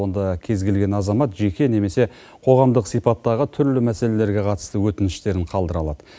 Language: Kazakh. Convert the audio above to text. онда кез келген азамат жеке немесе қоғамдық сипаттағы түрлі мәселелерге қатысты өтініштерін қалдыра алады